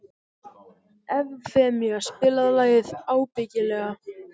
Evfemía, spilaðu lagið „Ábyggilega“.